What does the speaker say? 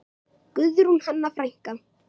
Guðrún Hanna frænka.